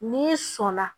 N'i sɔn na